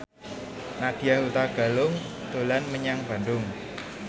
Nadya Hutagalung dolan menyang Bandung